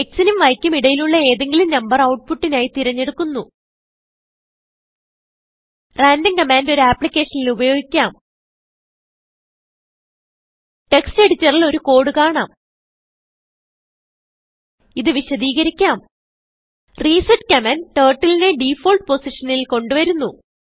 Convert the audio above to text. XനുംYക്കും ഇടയിലുള്ള ഏതെങ്കിലും നമ്പർ outputനായി തിരഞ്ഞെടുക്കുന്നു randomകമാൻഡ് ഒരു അപ്ലിക്കേഷനിൽ ഉപയോഗിക്കാം ടെക്സ്റ്റ് എഡിറ്ററിൽ ഒരു കോഡ് കാണാം ഇത് വിശദീകരിക്കാം റിസെറ്റ് കമാൻഡ് Turtleനെ ഡിഫോൾട്ട് പൊസിഷനിൽ കൊണ്ട് വരുന്നു